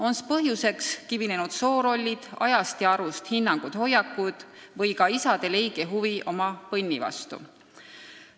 On's põhjuseks kivinenud soorollid, ajast ja arust hinnangud ja hoiakud või ka isade leige huvi oma põnnide vastu?